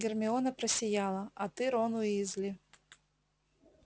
гермиона просияла а ты рон уизли